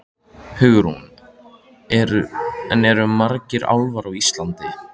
Hugrún: En eru margir álfar á Íslandi?